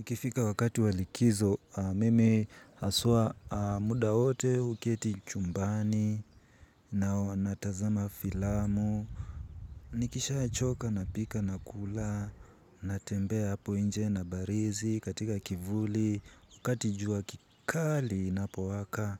Ikifika wakati wa likizo, mimi haswa muda wote huketi chumbani, na natazama filamu. Nikishachoka, napika, nakula, natembea hapo nje nabarizi, katika kivuli, wakati jua kikali inapowaka.